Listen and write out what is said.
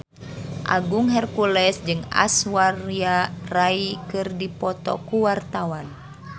Agung Hercules jeung Aishwarya Rai keur dipoto ku wartawan